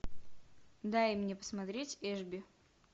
дай мне посмотреть эшби